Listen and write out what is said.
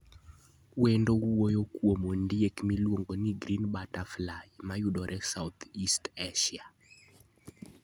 Wendno wuoyo kuom ondiek miluongo ni green butterfly, ma yudore South-East Asia.